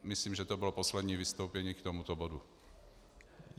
Myslím, že to bylo poslední vystoupení k tomuto bodu.